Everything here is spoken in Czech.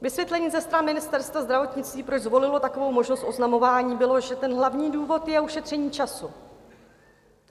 Vysvětlení ze strany Ministerstva zdravotnictví, proč zvolilo takovou možnost oznamování, bylo, že ten hlavní důvod je ušetření času.